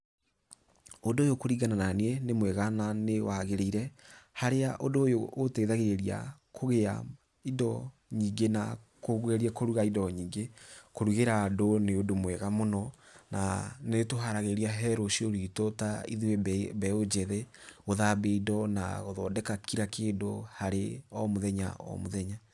Ũndũ ũyũ kũringana naniĩ, nĩ mwega na nĩ wagĩrĩire, harĩa ũndũ ũyũ ũteithagĩrĩria kũgĩa indo nyingĩ na kũgeria kũruga indo nyingĩ, kũrugĩra andũ nĩ ũndũ mwega mũno, na nĩ ũtũharagĩria he rũciũ rwitũ ta ithuĩ mbeũ njĩthĩ gũthambia indo na gũthondeka o kira kĩndũ harĩ o mũthenya o mũthenya.